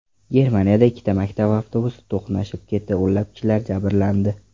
Germaniyada ikkita maktab avtobusi to‘qnashib ketdi, o‘nlab kishilar jabrlandi.